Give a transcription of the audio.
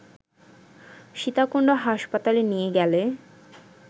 সীতাকুণ্ড হাসপাতালে নিয়ে গেলে